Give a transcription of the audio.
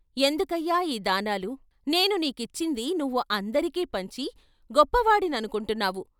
ఎందుకయ్యా ఈ దానాలు నేను నీకిచ్చింది నువ్వు అందరికీ పంచి గొప్ప వాడిననుకుంటున్నావు.